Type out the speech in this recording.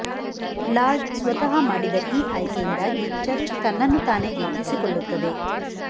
lord ಸ್ವತಃ ಮಾಡಿದ ಈ ಆಯ್ಕೆಯಿಂದಾಗಿ ಚರ್ಚ್ ತನ್ನನ್ನು ತಾನೇ ಗುರುತಿಸಿಕೊಳ್ಳುತ್ತದೆ